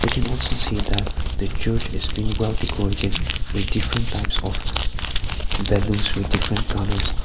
we can also see that the church is been well decorated with different types of balloons with different colours.